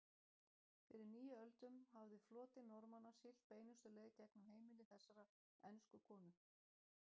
Fyrir níu öldum hafði floti Normanna siglt beinustu leið gegnum heimili þessarar ensku konu.